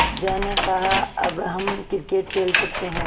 अज्जा ने कहा अब हम क्रिकेट खेल सकते हैं